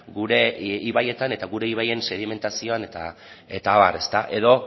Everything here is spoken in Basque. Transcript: gure ibaietan eta gure ibaien sedimentazioan eta abar edo